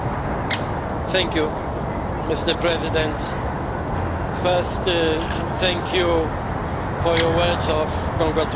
Mr President, firstly, thank you for your words of congratulations and support.